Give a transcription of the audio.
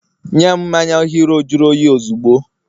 nyem mmanya hero juru oyi ozugbo!